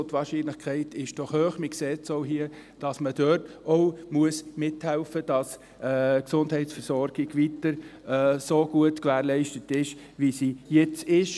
Die Wahrscheinlichkeit ist hoch, man sieht es hier, dass man mithelfen muss, dass die Gesundheitsversorgung weiterhin so gut gewährleistet ist, wie sie jetzt ist.